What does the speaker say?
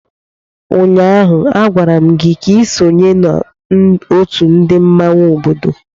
Ụnyaahụ, agwara m gị ka i sonye n'otu ndị mmanwụ obodo!